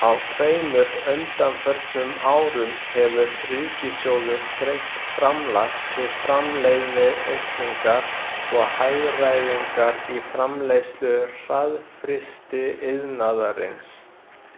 Á tveimur undanförnum árum hefur ríkissjóður greitt framlag til framleiðniaukningar og hagræðingar í framleiðslu hraðfrystiiðnaðarins.